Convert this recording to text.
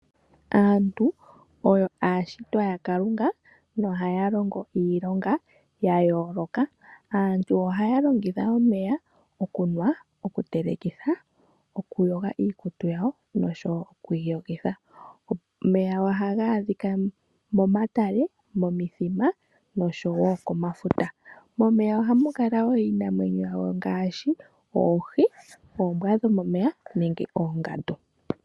Aantu oyo aashitwa yaKalunga nohaya longo iilonga ya yooloka. Aantu ohaya longitha omeya okunwa, okutelekitha, okuyoga iikutu yawo noshowo okwi iyogitha. Omeya ohaga adhika momatale, momithima noshowo komafuta. Momeya ohamu kala wo iinamwenyo ngaashi oohi, oombwa dhomomeya nenge oongandu.